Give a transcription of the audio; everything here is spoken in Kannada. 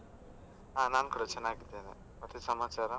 ಹಾ ನಾನ್ ಕೂಡ ಚೆನ್ನಾಗಿದ್ದೇನೆ. ಮತ್ತೆ ಸಮಾಚಾರ?